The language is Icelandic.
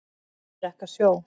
Þeir drekka sjó.